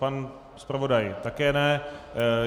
Pan zpravodaj také ne.